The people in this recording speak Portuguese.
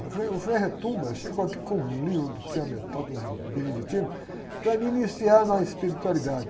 Eu falei, o frei, eu chego aqui com um livro, do, um beneditino, para me iniciar na espiritualidade.